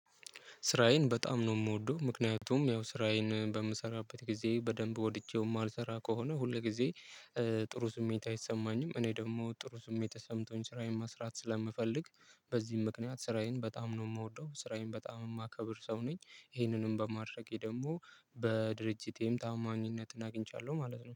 ስራዬን በጣም ነው ምወደው ምክንያቱም ያው ስራዬን በምሰራበት ጊዜ በደንብ ወድጄው ማልሰራ ከሆነ ሁል ጊዜ ጥሩ ስሜት አይሰማኝም። እኔ ደግሞ ጥሩ ስሜት ተሰምቶኝ ስራዬን መስራት ስለምፈልግ። በዚህ ምክንያት ስራዬን በጣም ነው ምወደው ስራዬን በጣም የማከብር ሰው ነኝ። ይሄንንም በማድረጌ ደግሞ በድርጅቴም ታማኝነትን አግኝቻለሁ ማለት ነው